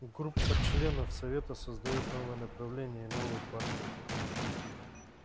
группа членов совета создаёт новое направление и новую партию